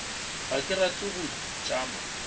ga ke rate go tšama